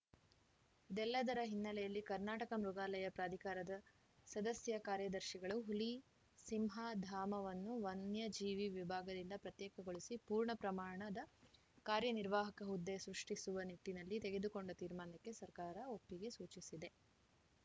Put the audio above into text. ಇದೆಲ್ಲದರ ಹಿನ್ನೆಲೆಯಲ್ಲಿ ಕರ್ನಾಟಕ ಮೃಗಾಲಯ ಪ್ರಾಧಿಕಾರದ ಸದಸ್ಯ ಕಾರ್ಯದರ್ಶಿಗಳು ಹುಲಿಸಿಂಹ ಧಾಮವನ್ನು ವನ್ಯಜೀವಿ ವಿಭಾಗದಿಂದ ಪ್ರತ್ಯೇಕಗೊಳಿಸಿ ಪೂರ್ಣ ಪ್ರಮಾಣದ ಕಾರ್ಯ ನಿರ್ವಾಹಕ ಹುದ್ದೆ ಸೃಷ್ಟಿಸುವ ನಿಟ್ಟಿನಲ್ಲಿ ತೆಗೆದುಕೊಂಡ ತೀರ್ಮಾನಕ್ಕೆ ಸರ್ಕಾರ ಒಪ್ಪಿಗೆ ಸೂಚಿಸಿದೆ